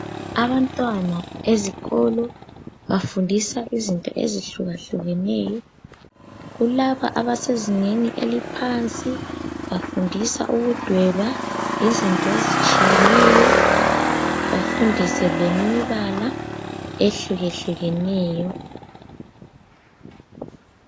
Abantwana ezikolo bafundisa izinto ezihlukahlukeneyo. Kulabo abasezingeni eliphansi bafundisa ukudweba izinto ezitshiyeneyo. Bafundise lemibala ehlukehlukeneyo.